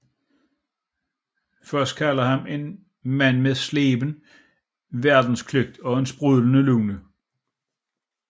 Voss kalder ham en Mand med sleben Verdenskløgt og sprudlende Lune